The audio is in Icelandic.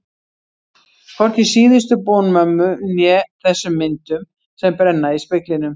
Hvorki síðustu bón mömmu né þessum myndum sem brenna í speglinum.